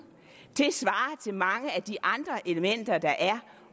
det mange af de andre elementer der er